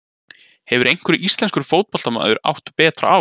Hefur einhver íslenskur fótboltamaður átt betra ár?